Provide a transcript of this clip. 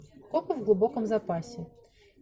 копы в глубоком запасе